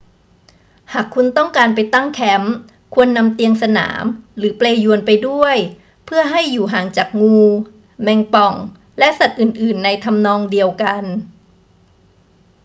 หากคุณต้องการไปตั้งแคมป์ ควรนำเตียงสนามหรือเปลญวนไปด้วยเพื่อให้อยู่ห่างจากงู แมงป่อง และสัตว์อื่น ๆ ในทำนองเดียวกัน